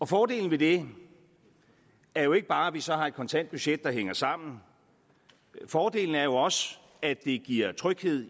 fordelen ved det er jo ikke bare at vi så har et kontant budget der hænger sammen fordelen er også at det giver tryghed